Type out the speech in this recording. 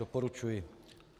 Doporučuji.